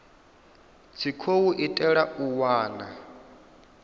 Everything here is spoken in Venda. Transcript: tshi khou itelwa u wana